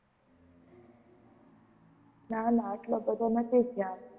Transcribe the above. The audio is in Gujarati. ના ના આટલો બધો નથી ખ્યાલ.